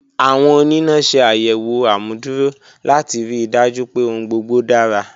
Awọn onina ṣe ayẹwo amuduro lati rii daju pe ohun gbogbo dara.